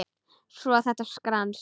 Svo þetta skrans.